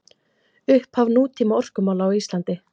Upphaf nútíma orkumála á Íslandi